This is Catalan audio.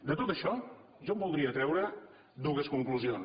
de tot això jo en voldria treure dues conclusions